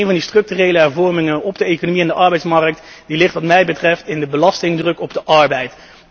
Een van die structurele hervormingen van de economie en de arbeidsmarkt ligt wat mij betreft in de belastingdruk op de arbeid.